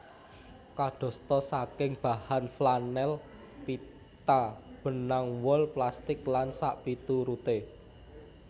Kadosta saking bahan flanel pita benang wol plastik lan sakpituruté